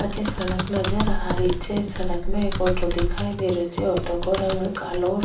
अठे सड़क नजर आ री छे सड़क में एक ऑटो दिखाई दे रो छे ऑटो को रंग कालो --